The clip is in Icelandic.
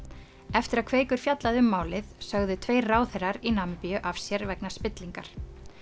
eftir að Kveikur fjallaði um málið sögðu tveir ráðherrar í Namibíu af sér vegna spillingar